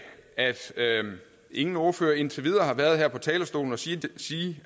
at ingen ordfører indtil videre har været her på talerstolen og sige